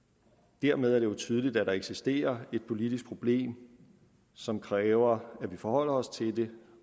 dermed er det jo tydeligt at der eksisterer et politisk problem som kræver at vi forholder os til det